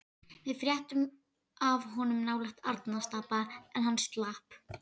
Við fréttum af honum nálægt Arnarstapa en hann slapp.